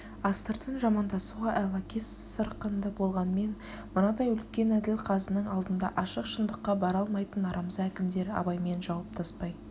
астыртын жамандасуға айлакес сырқынды болғанмен мынадай үлкен әділ казының алдында ашық шындыққа бара алмайтын арамза әкімдер абаймен жауаптаспай